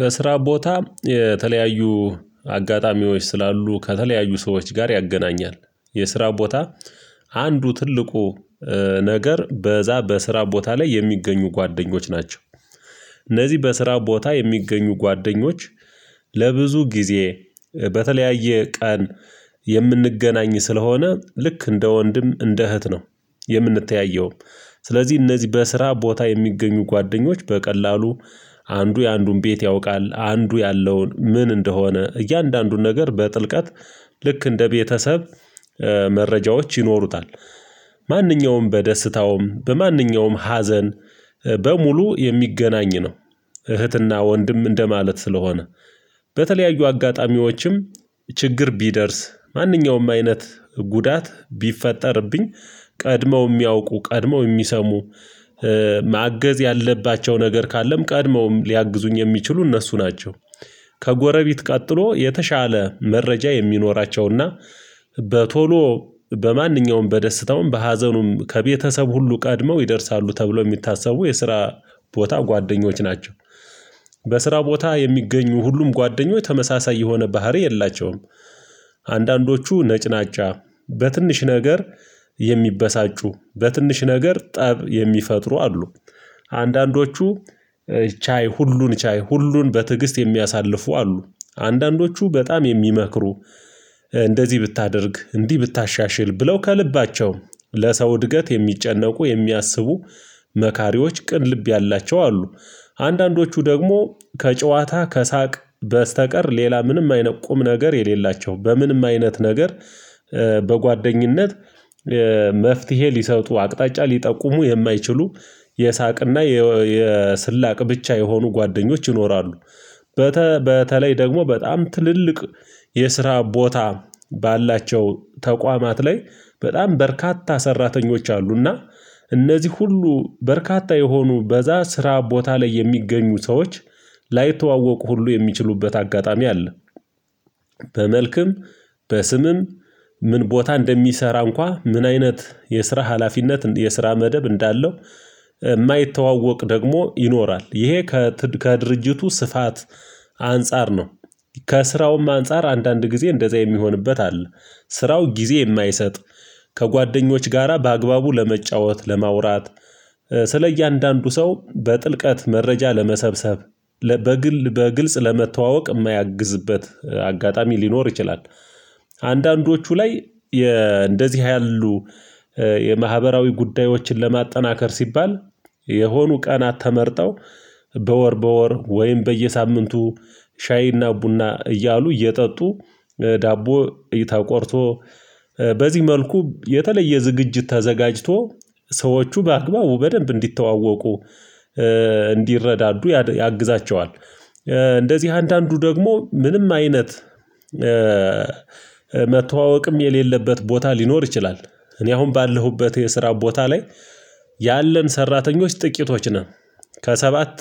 በስራ ቦታ የተለያዩ አጋጣሚዎች ስላሉ ከተለያዩ ሰዎች ጋር ያገናኛል የስራ ቦታ አንዱ ትልቁ ነገር በዛ በስራ ቦታ ላይ የሚገኙ ጓደኞች ናቸው። እነዚህ በስራ ቦታ የሚገኙ ጓደኞች ለብዙ ጊዜ በተለያየ ቀን የምንገናኝ ስለሆነ ልክ እንደ ወንድም እንደ እህት ነው የምንተያየው። ስለዚህ እነዚህ በስራ ቦታ የሚገኙ ጓደኞች በቀላሉ አንዱ የአንዱን ቤት ያውቃል አንዱ ያለውን ምን እንደሆነ እያንዳንዱን ነገር በጥልቀት ልክ እንደ ቤተሰብ መረጃዎች ይኖሩታል። ማንኛውም በደስታውም በማንኛውም ሀዘን በሙሉ የሚገናኝ ነው። እህትና ወንድም እንደማለት ስለሆነ በተለያዩ አጋጣሚዎችም ችግር ቢደርስ ማንኛውም አይነት ጉዳት ቢፈጠርብኝ ቀድመው የሚያውቁ ቀድመው የሚሰሙ ማገዝ ያለባቸው ነገር ካለም ቀድመውም ሊያግዙኝ የሚችሉ እነሱ ናቸው። ከጎረቤት ቀጥሎ የተሻለ መረጃ የሚኖራቸውና በቶሎ በማንኛውም በደስታውም በሀዘኑም ከቤተሰብ ሁሉ ቀድመው ይደርሳሉ ተብሎ የሚታሰቡ የስራ ቦታ ጓደኞች ናቸው። በስራ ቦታ የሚገኙ ሁሉም ጓደኞች ተመሳሳይ የሆነ ባህሪ የላቸውም። አንዳንዶቹ ነጭናጫ በትንሽ ነገር የሚበሳጩ በትንሽ ነገር ጠብ የሚፈጥሩ አሉ። አንዳንዶቹ ቻይ ሁሉን ቻይ ሁሉን በትዕግስት የሚያሳልፉ አሉ። አንዳንዶቹ በጣም የሚመክሩ እንደዚህ ብታደርግ እንዲህ ብታሻሽል ብለው ከልባቸው ለሰው እድገት የሚጨነቁ የሚያስቡ መካሪዎች ቅን ልብ ያላቸው አሉ። አንዳንዶቹ ደግሞ ከጨዋታ ከሳቅ በስተቀር ሌላ ምንም አይነት ቁም ነገር የሌላቸው በምንም አይነት ነገር በጓደኝነት መፍትሄ ሊሰጡ አቅጣጫ ሊጠቁሙ የማይችሉ የሳቅና የስላቅ ብቻ የሆኑ ጓደኞች ይኖራሉ። በተለይ ደግሞ በጣም ትልልቅ የስራ ቦታ ባላቸው ተቋማት ላይ በጣም በርካታ ሰራተኞች አሉ እና እነዚህ ሁሉ በርካታ የሆኑ በዛ ስራ ቦታ ላይ የሚገኙ ሰዎች ላይተዋወቁ ሁሉ የሚችሉበት አጋጣሚ አለ። በመልክም በስምም ምን ቦታ እንደሚሰራ እንኳን ምን አይነት የስራ ሀላፊነት የስራ መደብ እንዳለው የማይተዋወቅ ደግሞ ይኖራል ይሄ ከድርጅቱ ስፋት አንፃር ነው። ከስራውም አንፃር አንዳንድ ጊዜ እንደዛ የሚሆንበት አለ ስራው ጊዜ የማይሰጥ ከጓደኞች ጋራ በአግባቡ ለመጫወት ለማውራት ስለ እያንዳንዱ ሰው በጥልቀት መረጃ ለመሰብሰብ በግል በግልጽ ለመተዋወቅ የማያግዝበት አጋጣሚ ሊኖር ይችላል። አንዳንዶቹ ላይ እንደዚህ ያሉ የማህበራዊ ጉዳዮችን ለማጠናከር ሲባል የሆኑ ቀናት ተመርጠው በወር በወር ወይም በየሳምንቱ ሻይና ቡና እያሉ እየጠጡ ዳቦ ተቆርሶ በዚህ መልኩ የተለየ ዝግጅት ተዘጋጅቶ ሰዎቹ በአግባቡ በደንብ እንዲተዋወቁ እንዲረዳዱ ያግዛቸዋል። እንደዚህ አንዳንዱ ደግሞ ምንም አይነት መተዋወቅም የሌለበት ቦታ ሊኖር ይችላል። እኔ አሁን ባለሁበት የስራ ቦታ ላይ ያለን ሰራተኞች ጥቂቶች ነን። ከሰባት